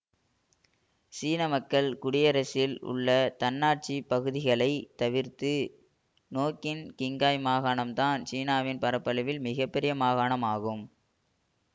சீன மக்கள் குடியரசில் உள்ள தன்னாட்சி பகுதிகளை தவிர்த்து நோக்கின் கிங்காய் மாகாணம்தான் சீனாவின் பரப்பளவில் மிக பெரிய மாகாணம் ஆகும்